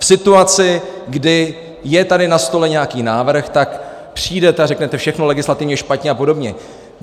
V situaci, kdy je tady na stole nějaký návrh, tak přijdete a řeknete: všechno legislativně špatně a podobně.